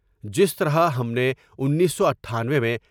جس طرح ہم نے انیس سو اٹھانوے میں ۔